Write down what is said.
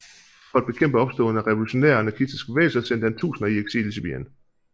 For at bekæmpe opståen af revolutionære og anarkistiske bevægelser sendte han tusinder i eksil i Sibirien